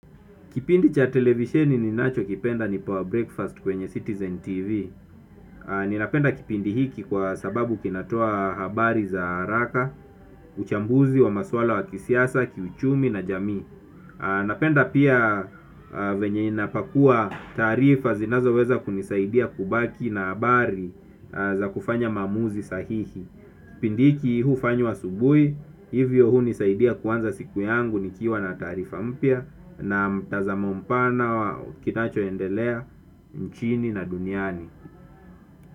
Kipindi cha televisheni ninachokipenda ni pawa breakfast kwenye Citizen TV. Ninapenda kipindi hiki kwa sababu kinatoa habari za haraka, uchambuzi wa maswala wa kisiasa, kiuchumi na jami. Napenda pia venye inapakua tarifa zinazo weza kunisaidia kubaki na habari za kufanya maamuzi sahihi. Kipindi cha televisheni ninacho kipenda ni power breakfast kwenye Citizen TV. Na mtazamo mpana wa kinachoendelea nchini na duniani.